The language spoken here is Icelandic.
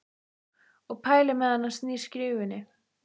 Og pælir meðan hann snýr skífunni.